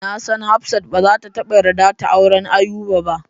Nasan hafsat bazata taba yarda ta auren Ayuba ba.